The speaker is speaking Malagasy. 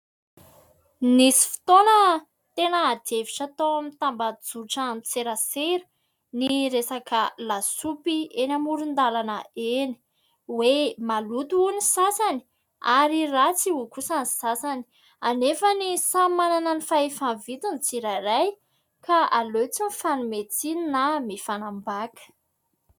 Nisy fotoana tena ady hevitra tao amin'ny tambazotran-tserasera ny resaka lasopy eny amoron-dalana eny, hoe : maloto hoy ny sasany ary ratsy hoy kosa ny sasany. Anefa samy manana ny fahefa-mividiny ny tsirairay, ka aleo tsy ny fanome tsiny na mifanambaka.